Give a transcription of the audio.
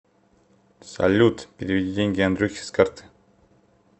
салют переведи деньги андрюхе с карты